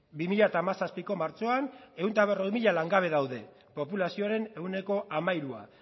bi mila zazpiko martxoan ehun eta berrogei mila langabe daude populazioaren ehuneko hamairua